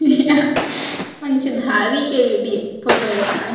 यहाँ पंचधारी के लिए फोटो हे का ए --